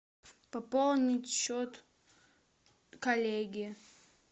пополнить счет коллеги